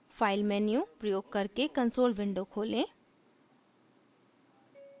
file menu प्रयोग करके console window खोलें